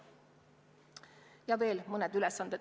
Ja on veel mõned ülesanded.